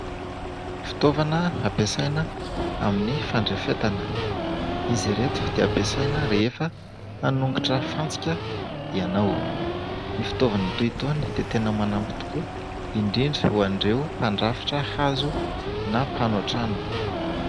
Fitaovana ampiasaina amin'ny fandrafetana. Izy ireto dia ampiasaina rehefa hanongotra fantsika ianao. Ny fitaovana toy itony dia tena manampy tokoa indrindra ho an'ireo mpandrafitra hazo na mpanao trano.